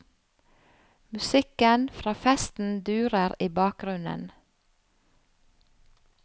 Musikken fra festen durer i bakgrunnen.